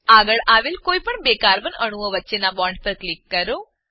આગળ આવેલ કોઈપણ બે કાર્બન અણુઓ વચ્ચેનાં બોન્ડ પર ક્લિક કરો